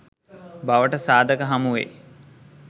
බවට සාධක හමුවෙයි.